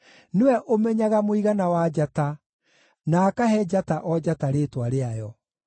Nĩwe ũmenyaga mũigana wa njata, na akahe njata o njata rĩĩtwa rĩayo.